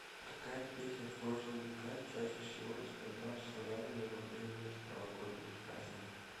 какая песня в прошлые века чаще всего исполнялась славянами во время новогодних праздников